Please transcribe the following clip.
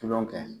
Tulo kɛ